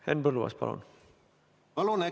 Henn Põlluaas, palun!